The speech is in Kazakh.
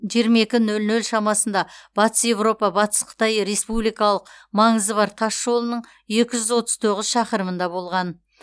жиырма екі нөл нөл шамасында батыс еуропа батыс қытай республикалық маңызы бар тас жолының екі жүз отыз тоғыз шақырымында болған